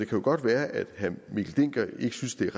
kan godt være at herre mikkel dencker ikke synes det er